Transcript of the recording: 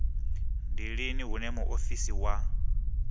ndi lini hune muofisi wa